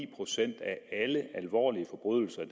procent af alle alvorlige forbrydelser i